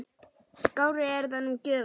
Skárri er það nú gjöfin!